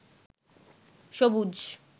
সবুজ